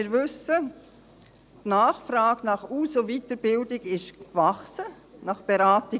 Wir wissen, dass die Nachfrage nach Aus- und Weiterbildung gewachsen ist, auch diejenige nach Beratung.